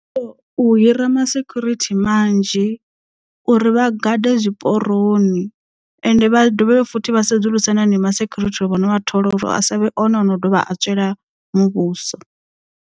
U hira ma security manzhi uri vha gade zwiporoni ende vha dovhe futhi vha sedzulusa na neo ma security vho no vha thola uri a savhe one ono dovha a tswela muvhuso.